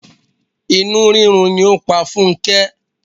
Inú rírun ni ó pa Funke.